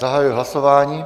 Zahajuji hlasování.